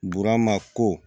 Burama ko